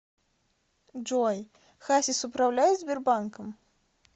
джой хасис управляет сбербанком